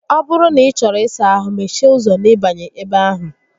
Ọ bụrụ na ị chọrọ ịsa ahụ, mechie ụzọ n'ịbanye ebe ahụ